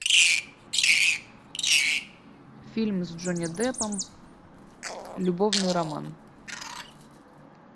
фильм с джонни деппом любовный роман